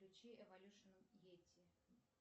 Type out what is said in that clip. включи эволюшен йети